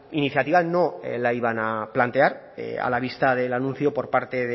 iniciativa no la iban a plantear a la vista del anuncio por parte